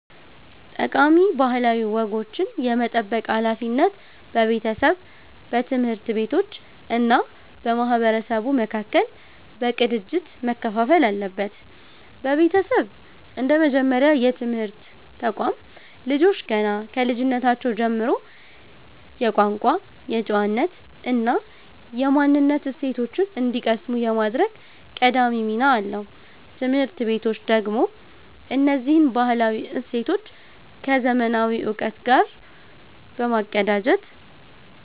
ጠቃሚ ባህላዊ ወጎችን የመጠበቅ ሃላፊነት በቤተሰብ፣ በትምህርት ቤቶች እና በማህበረሰቡ መካከል በቅንጅት መከፋፈል አለበት። ቤተሰብ እንደ መጀመሪያ የትምህርት ተቋም፣ ልጆች ገና ከልጅነታቸው ጀምሮ የቋንቋ፣ የጨዋነት እና የማንነት እሴቶችን እንዲቀስሙ የማድረግ ቀዳሚ ሚና አለው። ትምህርት ቤቶች ደግሞ እነዚህን ባህላዊ እሴቶች ከዘመናዊ እውቀት ጋር በማቀናጀት